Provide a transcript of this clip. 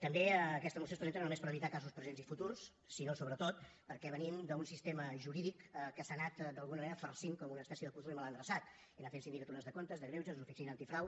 també aquesta moció es presenta no només per evitar casos presents i futurs sinó sobretot perquè venim d’un sistema jurídic que s’ha anat d’alguna manera farcint com una espècie de puzle mal endreçat i anar fent sindicatures de comptes de greuges l’oficina antifrau